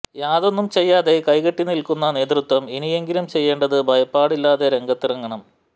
യാതൊന്നും ചെയ്യാതെ കൈ കെട്ടി നിൽക്കുന്ന നേതൃത്വം ഇനി എങ്കിലും ചെയ്യേണ്ടത് ഭയപ്പാടില്ലാതെ രംഗത്തിറങ്ങണം